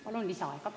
Palun lisaaega!